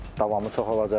Davamı çox olacaq.